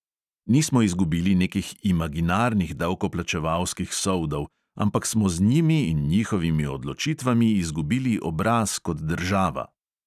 Nismo izgubili nekih imaginarnih davkoplačevalskih soldov, ampak smo z njimi in njihovimi odločitvami izgubili obraz kot država.